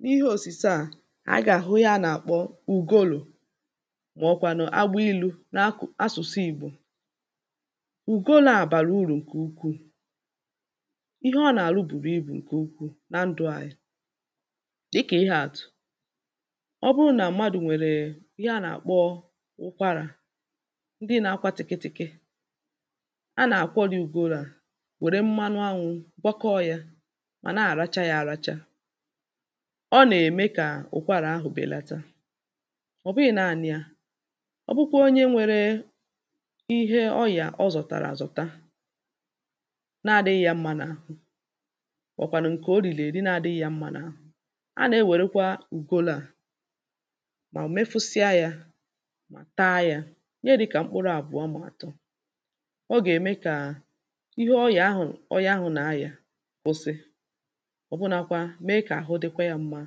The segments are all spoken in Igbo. n’ihe òsùse à ànyị gà-àhụ ihe à nà-àkpọ ugolò mà ọ̀ kwànụ̀ agbilū n’akụ̀ n’asʊ̣̀sụ igbò ùgolō à bàrà urù ǹkè ukwuù ihe ọ nà-arụ bùrù ibù ǹkè ukwuù nà ndụ̀ anyị̄ dịkà ihāàtụ̀ ọ bụrụ nà mmadụ̀ nwèrè ihe a nà-àkpọ ụkwarà ndị nā-āgbā tị̀kịtị̀kị a nà-àkwọri ugolō à nwère mmanụ nnī kwakọ yā ọ̀ nà-aracha yā àracha ọ nà-ème kà ụkwarā ahụ̀ bèlata ọ̀ bụghị̄ naānị̄ yā ọ bụkwa onye nwērē ihe ọnyà ọ zọ̀tàrà àzọ̀ta na-adị̄ghị̀ yà mma n’àhụ mà ọ̀ wụ̀kwànụ̀ ǹkè o rìrì èri na-adị̄ghị̀ yà mma n’àhụ a na-enwérukwa úgolō à mà mefụsịa yā taa yā ihe dị̄kà mpkụrụ àbụ̀ọ mà ọ̀ bụ̀ àtọ ọ gà-ème kà ihe onyà ahụ̀ onye ahụ̀ na-ayà kụsị ọ̀bụnākwā mee kà àhụ dịkwa yā mma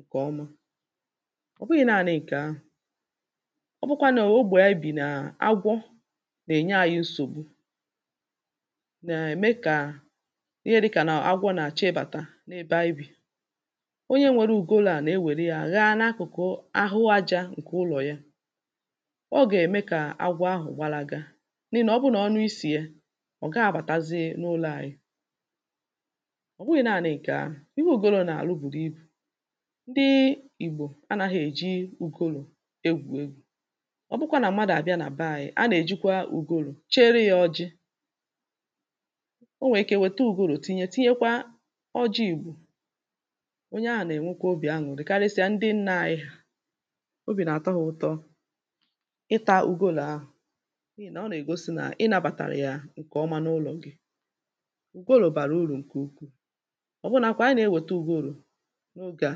ǹkè ọma ọ̀ bụghị̄ naānị̄ ǹkè ahụ̀ ọ bụkwa nà ogbè ànyị bì nà agwọ nà-ènye anyị̄ nsògbu nà-ème kà ihe dị̄kà nà agwọ nà-àchọ ịbàta n’ebe anyị bì onye nwērē ugolō à nà-ewère yā ghaa n’akụ̀kụ ahụ ajā ǹkè ụlọ̀ ya ọ gà-ème kà agwọ ahụ̀ gbalaga n’ihì nà ọ bụrụ nà ọ nụ isì ya ọ̀ gaghị̄ abàtazi n’ụlọ̄ ànyị̀ ọ̀ bụghị̄ naānị̄ ǹkè ahụ̀ ihe ùgolō nà-àrụ bùrù ibù ndị ìgbò ànaghị̄ èji ùgolò egwù egwū ọ bụkwa nà mmadụ̀ àbịa nà bee ānyị̄ a nà-èjikwa ùgolò chere yā ọjị̄ o nwèrè ike wète ùgolò tinye tinyekwa ọjị igbò onye ahụ̀ nà-ènwekwa obì anwụ̀rị karịsịa ndị nnā anyị hà obì nà-àtọ hā ụ̄tọ̄ ịtā ùgolō ahụ̀ n’ihì nà ọ nà-ègosi nà ị nābatara yà ǹkè ọma n’ụlọ̀ gị ùgolò bàrà urù ǹkè ukwuù ọ̀bụnākwā a nà-ewète ùgolò n’ogē à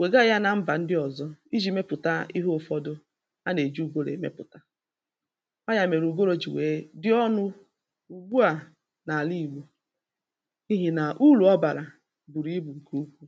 wèga gā na mbà ndị ọ̄zọ̄ ijī mepùta ihe ụ̄fọ̄dụ̄ a nà-èji ùgolò èmepùta ọọ̀ ya mèrè ùgolò jì nwèe dị ọnụ̄ ùgbu à n’àla ìgbò n’ihì nà urù ọ bàrà bùrù ibù ǹkè ukwuù